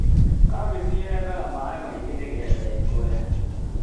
kabeci yendaga maĩ maingĩ nĩ getha ĩkũre.